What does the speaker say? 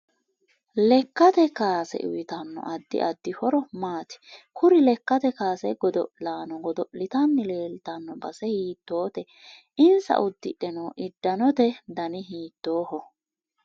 Lekkate kaase uyiitanno addi addi horo maati kuri lekkate kaase godo'laano godol'tanni leeltanno base hiitoote insa uddidhe noo idanotti danni hiitooho